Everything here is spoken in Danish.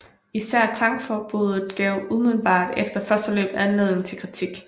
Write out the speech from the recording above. Især tankforbuddet gav umiddelbart efter første løb anledning til kritik